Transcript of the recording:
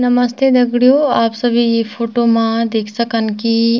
नमते दगडियों आप सभी ई फोटो मा देख सकन की --